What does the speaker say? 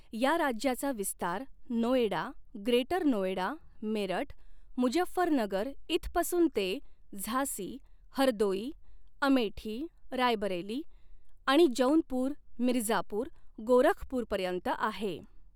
या राज्याचा विस्तार नोएडा, ग्रेटर नोएडा, मेरठ, मुजफ्फरनगर इथंपासून ते झांसी, हरदोई, अमेेठी, रायबरेली, आणि जौनपूर, मिर्जापूर, गोरखपूरपर्यंत आहे.